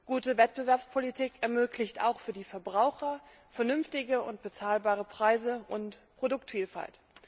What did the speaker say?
Gute Wettbewerbspolitik ermöglicht auch für die Verbraucher vernünftige und bezahlbare Preise und Produktvielfalt.